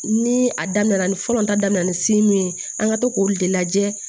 Ni a daminɛ na ni fɔlɔ ta daminɛ na ni ye an ka to k'olu de lajɛ